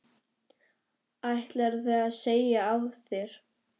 Ætlarðu að segja af þér?